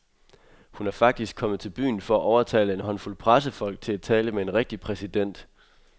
Hun er faktisk kommet til byen for at overtale en håndfuld pressefolk til at tale med en rigtig præsident.